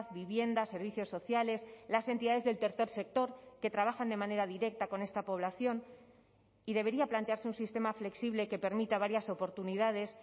vivienda servicios sociales las entidades del tercer sector que trabajan de manera directa con esta población y debería plantearse un sistema flexible que permita varias oportunidades